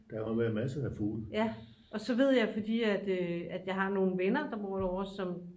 ja og så ved jeg fordi at jeg har nogle venner der bor derovre som